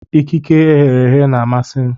Akịka eghere eghe na-amasị m.